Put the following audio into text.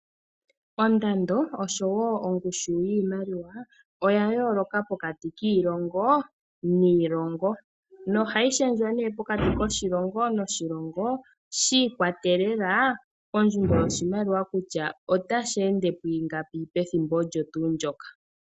Ondando osho wo ongushu yiimaliwa oya yooloka pokati kiilongo niilongo. Nohayi shendjwa nee pokati koshilongo noshilongo shi ikwatelela kondjundo yoshimaliwa kutya otashi ende pwiingapi pethimbo olyo tuu ndyoka.